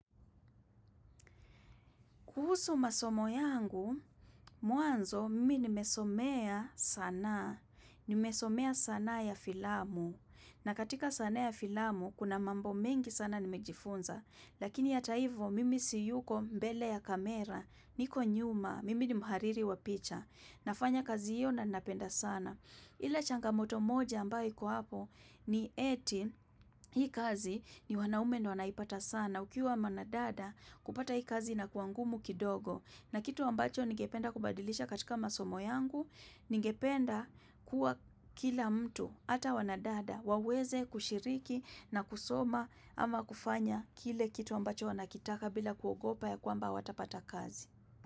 Kuhusu masomo yangu, muanzo, mimi nimesomea sanaa. Nimesomea sana ya filamu. Na katika sanaa ya filamu, kuna mambo mengi sana nimejifunza. Lakini hata hivo, mimi siyuko mbele ya kamera. Niko nyuma. Mimi ni muhariri wa picha. Nafanya kazi hiyo na napenda sana ile changamoto moja ambayo iko hapo ni eti hii kazi ni wanaume ndio wanaipata sana ukiwa mwanadada kupata hii kazi inakuwa ngumu kidogo na kitu ambacho nigependa kubadilisha katika masomo yangu ningependa kuwa kila mtu ata wanadada waweze kushiriki na kusoma ama kufanya kile kitu ambacho wanakitaka bila kuogopa ya kuamba hawatapata kazi.